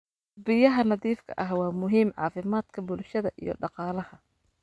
Biyaha nadiifka ah waa muhiim caafimaadka bulshada iyo dhaqaalaha.